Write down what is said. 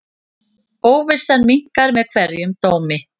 Óvissan minnkar með hverjum dómi.